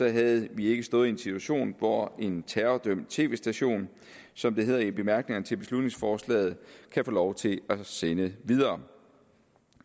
havde vi ikke stået en situation hvor en terrordømt tv station som det hedder i bemærkningerne til beslutningsforslaget kan få lov til at sende videre